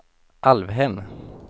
Alvhem